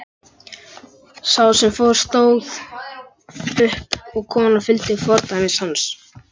Sá sem fór stóð upp og konan fylgdi fordæmi hans.